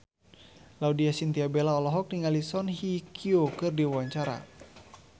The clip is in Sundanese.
Laudya Chintya Bella olohok ningali Song Hye Kyo keur diwawancara